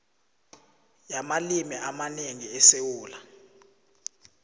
yamalimi amanengi esewula